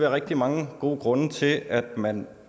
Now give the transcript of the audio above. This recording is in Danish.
rigtig mange gode grunde til at man